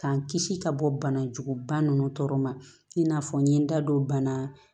K'an kisi ka bɔ bana juguguba ninnu tɔɔrɔ ma i n'a fɔ n ye n da don bana